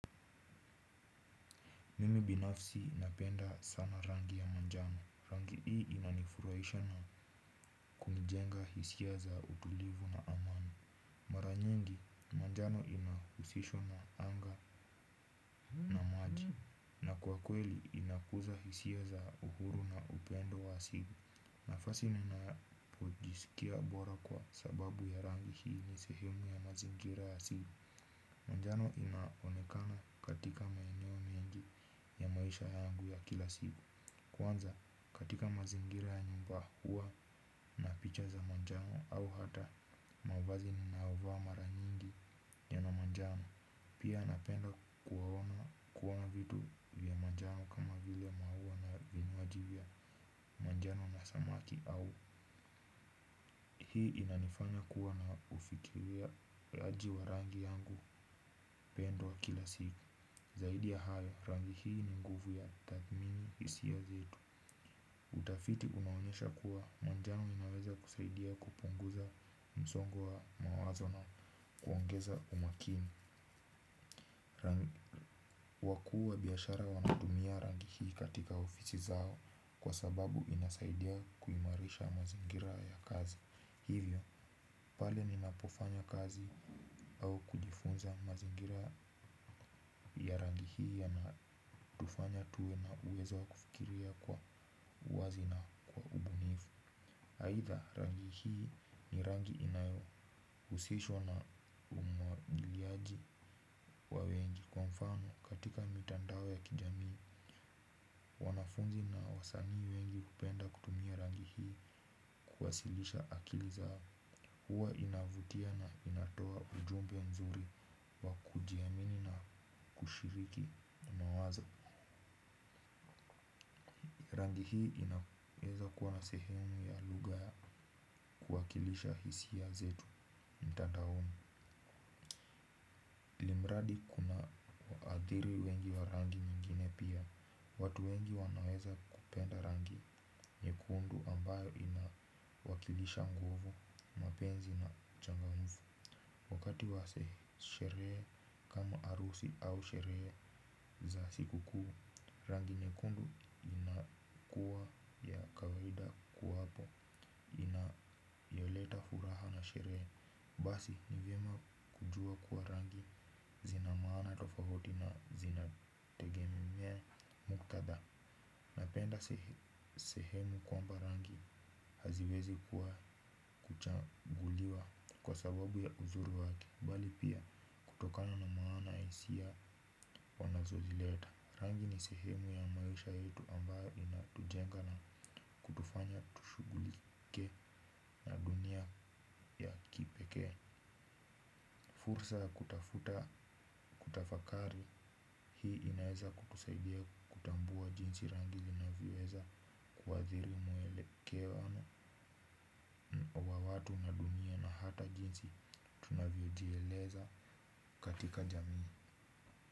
Mimi binafsi napenda sana rangi ya manjano. Rangi hii inanifurahisha na kumjenga hisia za utulivu na amani. Mara nyingi, manjano inahusishwa na anga na maji. Na kwa kweli, inakuza hisia za uhuru na upendo wa asili. Nafasi ninapojisikia bora kwa sababu ya rangi hii ni sehemu ya mazingira asili. Manjano inaonekana katika maeneo mengi ya maisha yangu ya kila sivu. Kwanza katika mazingira ya nyumba huwa na picha za manjano au hata mavazi ninaovaa mara nyingi yana manjano. Pia napenda kuwaona kuona vitu vya mnjano kama vile mauwa na vinywaji vya manjano na samaki au hii inanifanya kuwa na ufikiria raji wa rangi yangu upendo wa kila siku zaidi ya hayo rangi hii ni nguvu ya tathmini isiyo nzito. Utafiti unaonyesha kuwa manjano inaweza kusaidia kupunguza msongo wa mawazo na kuongeza umakini kwa kuwa biashara wanatumia rangi hii katika ofisi zao kwa sababu inasaidia kuimarisha mazingira ya kazi. Hivyo, pale ninapofanya kazi au kujifunza mazingira ya rangi hii yanatufanya tuwe na uwezo wa kufikiria kwa uwazi na ubunifu. Aidha rangi hii ni rangi inayohuusishwa na umwagiliaji wa wengi. Kwa mfano, katika mitandao ya kijamii, wanafunzi na wasanii wengi hupenda kutumia rangi hii kuwasilisha akili zao huwa inavutia na inatoa ujumbe nzuri wa kujiamini na ushiriki unawaza rangi hii inaweza kuwa na sehemu ya lugha ya kuwakilisha hisia zetu mtadaoni imradi kuna wadhiri wengi wa rangi nyingine pia watu wengi wanaweza kupenda rangi nyekundu ambayo ina wakilisha nguvu mapenzi na changamfu wakati wa seherehe kama harusi au sherehe za siku kuu rangi nyekundu inakuwa ya kawaida kuwapo inayoleta furaha na sherehe basi ni vyema kujua kuwa rangi zina maana tofauti na zinategemea muktadha. Napenda sehemu kwamba rangi haziwezi kuwa kuchaguliwa kwa sababu ya uzuri wake bali pia kutokano na maana ya hisia wanazo zileta. Rangi ni sehemu ya maisha yetu ambayo inatujenga na kutufanya tushughulike na dunia ya kipekee fursa ya kutafuta kutafakari hii inaeza kutusaidia kutambua jinsi rangi zinavyoweza kuathiri mwelekeano wa watu na dunia na hata jinsi tunavyojieleza katika jamii.